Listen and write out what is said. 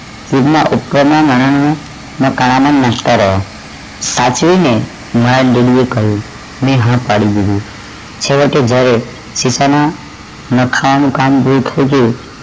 જેમના ઉપર ના સાચવી ને મારા didi એ કહ્યું મૈં ના પાડી દીધી છેવટે જ્યારે શેફાલી